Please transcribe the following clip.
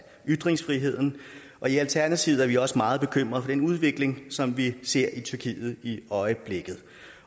ytringsfriheden og i alternativet er vi også meget bekymret for den udvikling som vi ser i tyrkiet i øjeblikket